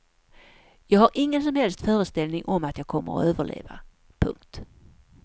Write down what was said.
Jag har ingen som helst föreställning om att jag kommer att överleva. punkt